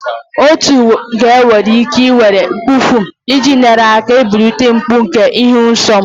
Otu ga-enwe ike ị were Ibuprofen iji nyere aka belata mgbu nke ịhụ nsọ.